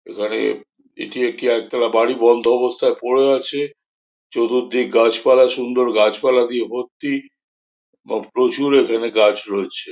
এখানে এটি একটি একতলা বাড়ি বন্ধ অবস্থায় পড়ে আছে চতুর্দিক গাছ পালা সুন্দর গাছ পালা দিয়ে ভর্তি ম প্রচুর এখানে গাছ রয়েছে।